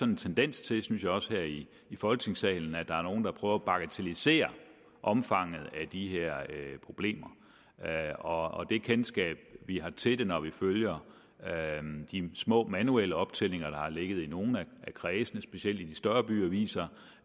en tendens til synes jeg også her i folketingssalen at der er nogle der prøver at bagatellisere omfanget af de her problemer og det kendskab vi har til det når vi følger de små manuelle optællinger der har ligget i nogle af kredsene specielt i de større byer viser